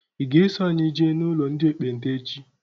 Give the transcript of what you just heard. I ga -eso anyị jee n'ụlọ ndị ekpenta echi?